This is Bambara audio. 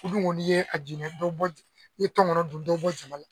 U dun ko ni ye a jinɛ dɔ bɔ, ni ye tɔngɔnɔ dun dɔ bi bɔ caman la